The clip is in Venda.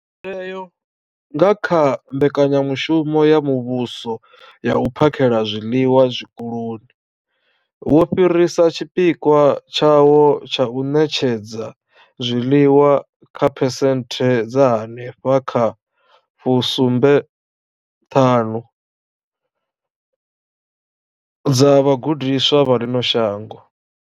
Mutheo, nga kha mbekanyamushumo ya muvhuso ya u phakhela zwiḽiwa zwikoloni, wo fhirisa tshipikwa tshawo tsha u ṋetshedza zwiḽiwa kha phesenthe dza henefha kha 75 dza vhagudiswa vha ḽino shango.